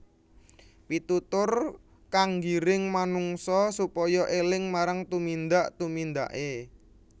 Pitutur kang nggiring manungsa supaya éling marang tumindak tumindaké